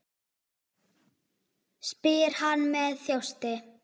spyr hann með þjósti.